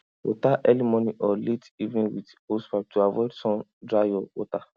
water early morning or late evening with hosepipe to avoid sun dry your water